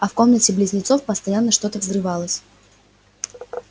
а в комнате близнецов постоянно что-то взрывалось